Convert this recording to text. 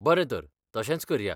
बरें तर, तशेंच करया.